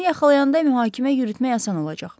Onu yaxalayanda mühakimə yürütmək asan olacaq.